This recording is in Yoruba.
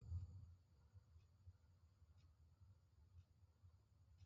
Ìgbéyàwó ìbílẹ̀ náà tí a lọ ní ọ̀sẹ̀ tó kọjá dùn púpọ̀